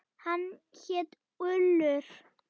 Hann hét Ullur.